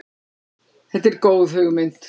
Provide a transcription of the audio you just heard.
Þetta er góð hugmynd.